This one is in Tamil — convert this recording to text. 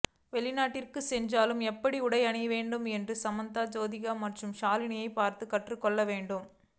வெளிநாட்டிற்கு சென்றாலும் எப்படி உடை அணிவது என்று சமந்தா ஜோதிகா மற்றும் ஷாலினியை பார்த்து கற்றுக் கொள்ள வேண்டும்